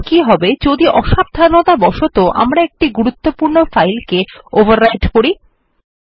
এখন কি হবে যদি অসাবধানতাবশত আমরা একটি গুরুত্বপূর্ণ ফাইল কে ওভাররাইটেন করি160